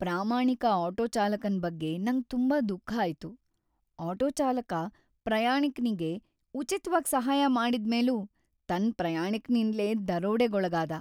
ಪ್ರಾಮಾಣಿಕ ಆಟೋ ಚಾಲಕನ್ ಬಗ್ಗೆ ನಂಗ್ ತುಂಬಾ ದುಃಖ ಆಯ್ತು. ಆಟೋ ಚಾಲಕ ಪ್ರಾಯಾಣಿಕ್ನಿಗೆ ಉಚಿತ್ವಾಗಿ ಸಹಾಯ ಮಾಡಿದ್ ಮೇಲೂ ತನ್ ಪ್ರಯಾಣಿಕನಿಂದ್ಲೇ ದರೋಡೆಗೊಳಗಾದ